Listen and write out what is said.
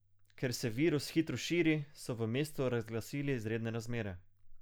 Ker se virus hitro širi, so v mestu razglasili izredne razmere.